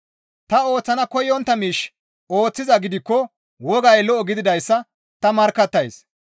Ta ooththana koyontta miish ooththizaa gidikko wogay lo7o gididayssa ta markkattays.